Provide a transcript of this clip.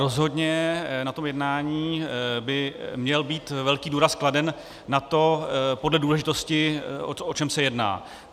Rozhodně na tom jednání by měl být velký důraz kladen na to, podle důležitosti, o čem se jedná.